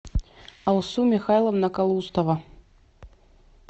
алсу михайловна калустова